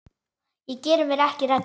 Ég geri mér ekki rellu.